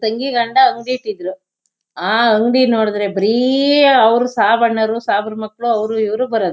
ತಂಗಿ ಗಂಡ ಅಂಗ್ಡಿ ಇಟ್ಟಿದ್ರು ಆ ಅಂಗಡಿ ನೋಡ್ದ್ರೆ ಬರಿ ಆ ಸಾಬಣ್ಣವ್ರು ಸಾಬ್ರು ಮಕ್ಳು ಅವ್ರಿವ್ರು ಬರದು.